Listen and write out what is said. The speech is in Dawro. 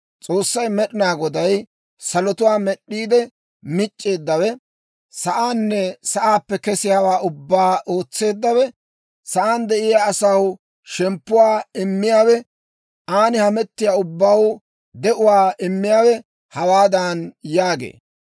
S'oossay Med'inaa Goday, salotuwaa med'd'iide mic'c'eeddawe, sa'aanne sa'aappe kesiyaawaa ubbaa ootseeddawe, sa'aan de'iyaa asaw shemppuwaa immiyaawe, aan hametiyaa ubbaw de'uwaa immiyaawe hawaadan yaagee;